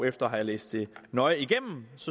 efter at have læst det nøje igennem